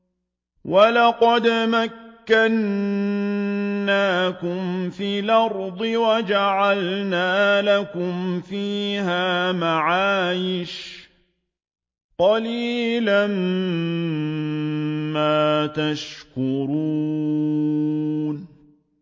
وَلَقَدْ مَكَّنَّاكُمْ فِي الْأَرْضِ وَجَعَلْنَا لَكُمْ فِيهَا مَعَايِشَ ۗ قَلِيلًا مَّا تَشْكُرُونَ